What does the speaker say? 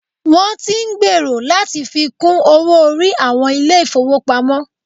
Wọn tí ń gbèrò láti fi kún owó orí àwọn ilé ìfọwọ́pamo.